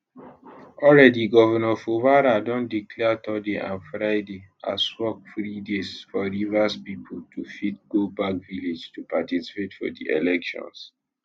already governor fubara don declare thurday and friday as work free days for rivers pipo to fit go back village to particapte for di elections